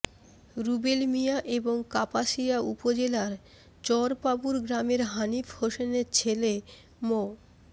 রুবেল মিয়া এবং কাপাসিয়া উপজেলার চরপাবুর গ্রামের হানিফ হোসেনের ছেলে মো